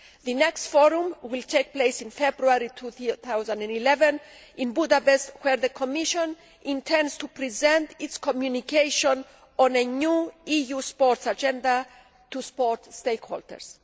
The next forum will take place in February 2011 in Budapest, where the Commission intends to present its communication on a new EU sports agenda to sports stakeholders.